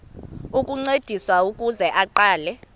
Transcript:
ukuncediswa ukuze aqale